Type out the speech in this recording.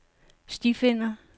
stifinder